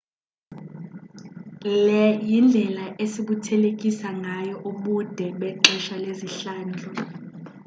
le yindlela esibuthelekisa ngayo ubude ubude bexesha lezihlandlo